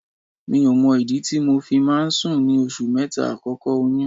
Mi ò mọ ìdí tí mo fi máa ń sùn ní oṣù mẹ́ta àkọ́kọ́ oyún.